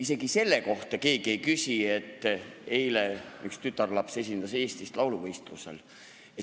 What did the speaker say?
Isegi selle kohta keegi ei küsi, miks eile üks tütarlaps esindas Eestit lauluvõistlusel.